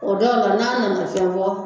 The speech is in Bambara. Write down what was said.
O dɔw la n'a nana fɛn fɔ